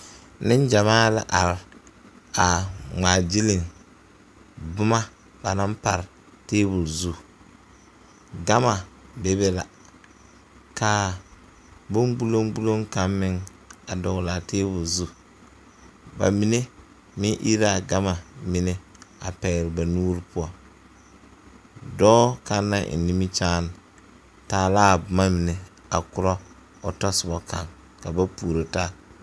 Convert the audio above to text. Neŋgyamaa la are aa ngmaagyile boma ba naŋ pare tabol zu gama bebe la kaa bon gbuloŋgbuloŋ kaŋ meŋ a dɔglaa tabol zu ba mine meŋ ire laa gama mine a pɛgle ba nuure poɔ dɔɔ kaŋ naŋ eŋ nimikyaane taa laa boma mine a korɔ o tɔsobɔ kaŋ ka ba puoro taa.